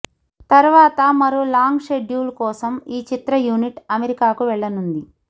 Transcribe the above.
తర్వాత మరో long schedule కోసం ఈ చిత్ర యూనిట్ అమెరికాకు వెళ్లనుంది